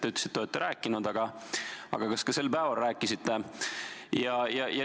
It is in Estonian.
Te ütlesite, et olete rääkinud, aga kas ka sel päeval rääkisite?